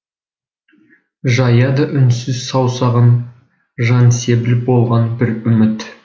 жаяды үнсіз саусағын жансебіл болған бір үміт